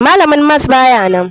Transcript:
Malamin mas bayanan.